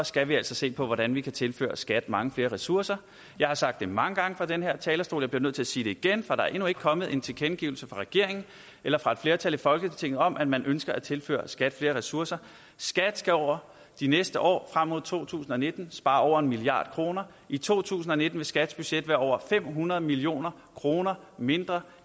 skal vi altså se på hvordan vi kan tilføre skat mange flere ressourcer jeg har sagt det mange gange fra den her talerstol og jeg bliver nødt til at sige det igen for der er endnu ikke kommet en tilkendegivelse fra regeringen eller fra et flertal i folketinget om at man ønsker at tilføre skat flere ressourcer skat skal over de næste år frem mod to tusind og nitten spare over en milliard kroner i to tusind og nitten vil skats budget være over fem hundrede million kroner mindre